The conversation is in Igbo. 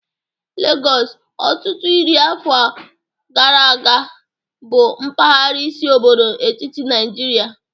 Legọs, ọtụtụ iri afọ gara aga, bụ mpaghara isi obodo etiti Nigeria